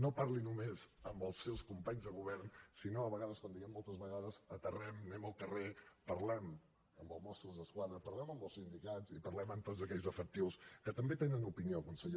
no parli només amb els seus companys de govern si no a vegades com diem moltes vegades aterrem anem al carrer parlem amb els mossos d’esquadra parlem amb els sindicats i parlem amb tots aquells efectius que també tenen opinió consellera